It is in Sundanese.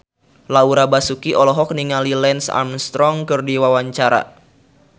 Laura Basuki olohok ningali Lance Armstrong keur diwawancara